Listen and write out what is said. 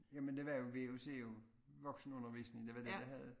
Ja men det var jo VUC jo voksenundervisning det var det jeg havde